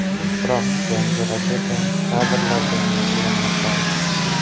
Biroq yangi raketa kadrlarga muhrlanmay qoldi.